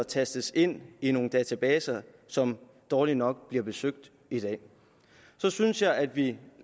tastes ind i nogle databaser som dårligt nok bliver besøgt i dag så synes jeg at vi